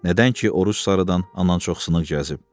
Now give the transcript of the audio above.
nədən ki, Oruc sarıdan anan çox sınıq gəzib.